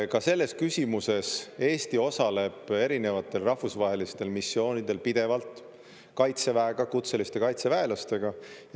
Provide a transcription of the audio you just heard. Ka selles küsimuses Eesti osaleb erinevatel rahvusvahelistel missioonidel pidevalt Kaitseväega, kutseliste kaitseväelastega.